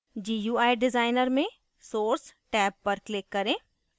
gui designer में source tab click करें